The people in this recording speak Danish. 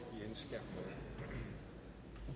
da